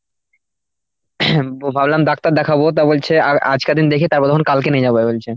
ভাবলাম ডাক্তার দেখাবো। তো বলছে আর আজকার দিন দেখে তারপর তখন কালকে নিয়ে যাবো বলছে